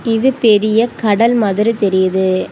இது பெரிய கடல் மாதிரி தெரியுது.